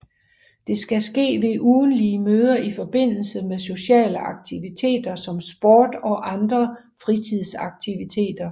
Det skal ske ved ugentlige møder i forbindelse med sociale aktiviteter som sport og andre fritidsaktiviteter